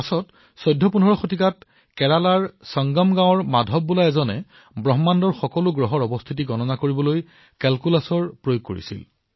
পিছলৈ চৌদ্ধশপোন্ধৰশ শতাব্দীত কেৰেলাত সংগম গ্ৰামৰ মাধৱে ব্ৰহ্মাণ্ডত অৱস্থিত গ্ৰহসমূহৰ স্থিতি গণনা কৰাৰ বাবে কলন গণিত ব্যৱহাৰ কৰিছিল